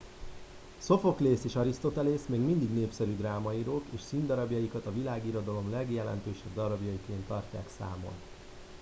szophoklész és arisztotelész még mindig népszerű drámaírók és színdarabjaikat a világirodalom legjelentősebb darabjaiként tartják számon